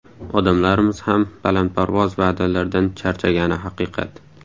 Odamlarimiz ham balandparvoz va’dalardan charchagani haqiqat.